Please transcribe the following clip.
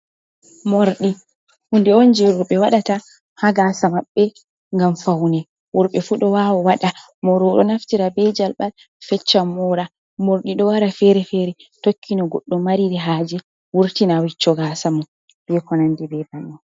Mordi hunde on je roɓɓe waɗata ha gasa maɓbe ngam faune worbe fu ɗo wawa waɗa Moro o ɗo naftira be jalbal fecca mora, morɗi ɗo wara fere-fere tokkini goɗɗo mariri haje wurtina wicco gasa mon be konandi be banin.